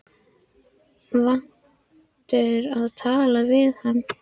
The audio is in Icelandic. Vanur að tala við hana í hálfkæringi.